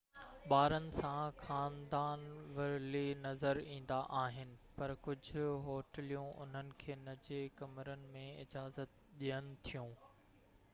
ٻارن ساڻ خاندان ورلي نظر ايندا آهن پر ڪجھ هوٽليون انهن کي نجي ڪمرن ۾ اجازت ڏين ٿيون